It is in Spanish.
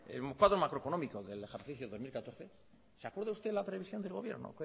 el cuadro macroeconómico del ejercicio dos mil catorce se acuerda usted de la previsión del gobierno